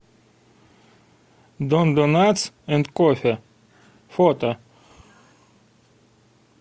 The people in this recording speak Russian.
дондонатс энд кофе фото